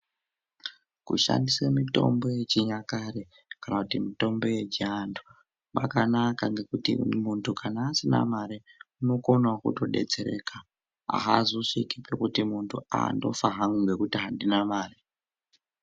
Kushandise mitombo ye chinyakare kana kuti mitombo yechi antu kwakanaka ngekuti muntu kana asina mare unokonawo kuto detsereka azosviki pekuti muntu aa ndofa hanku ngekuti andina mari.